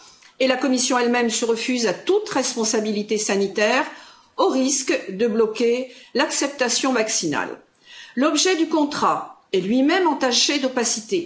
Et la Commission elle même se refuse à toute responsabilité sanitaire, au risque de bloquer l'acceptation maximale. L'objet du contrat est lui même entaché d'opacité.